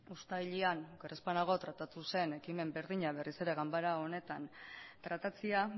uztailean oker ez banago tratatu zen ekimen berdina berriz ere ganbara honetan tratatzea